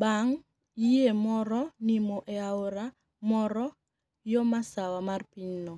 banig ' yie moro niimo e aora moro yo masawa mar piny no.